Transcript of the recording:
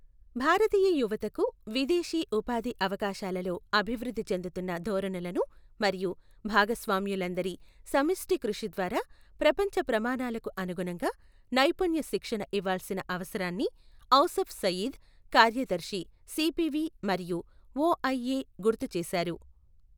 భారతీయ యువతకు విదేశీ ఉపాధి అవకాశాలలో అభివృద్ధి చెందుతున్న ధోరణులను మరియు భాగస్వాములందరి సమిష్టి కృషి ద్వారా ప్రపంచ ప్రమాణాలకు అనుగుణంగా నైపుణ్య శిక్షణ ఇవ్వాల్సిన అవసరాన్ని ఔసఫ్ సయీద్, కార్యదర్శి సిపివి మరియు ఒఐఎ గుర్తు చేశారు.